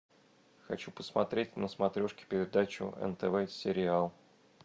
хочу посмотреть на смотрешке передачу нтв сериал